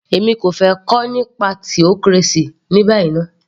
Èmi kò fẹ́ kà nípa theocracy ní báyìí ná